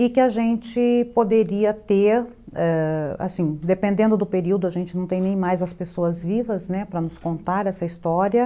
E que a gente poderia ter, ãh, dependendo do período, a gente não tem nem mais as pessoas vivas, né, para nos contar essa história.